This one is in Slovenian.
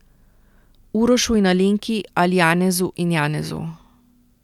Urošu in Alenki ali Janezu in Janezu.